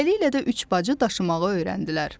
Beləliklə də üç bacı daşımağı öyrəndilər.